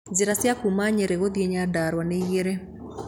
Njĩra cia kuuma Nyeri gũthiĩ Nyandarua nĩ igĩrĩ.